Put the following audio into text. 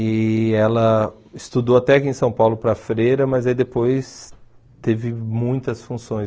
E ela estudou até aqui em São Paulo para a freira, mas aí depois teve muitas funções.